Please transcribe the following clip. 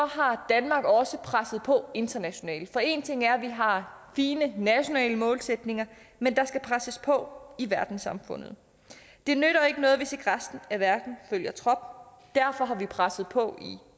har danmark også presset på internationalt for en ting er at vi har fine nationale målsætninger men der skal presses på i verdenssamfundet det nytter ikke noget hvis ikke resten af verden følger trop derfor har vi presset på i